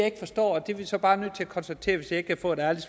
ikke forstår det er vi så bare nødt til at konstatere hvis jeg ikke kan få et ærligt